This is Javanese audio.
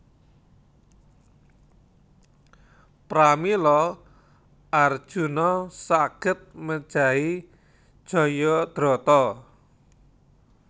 Pramila Arjuna saged mejahi Jayadrata